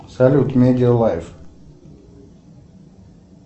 салют медиа лайф